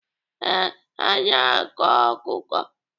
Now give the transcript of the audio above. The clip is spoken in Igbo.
Ee, ha na-akọ akụkọ.